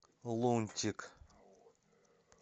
лунтик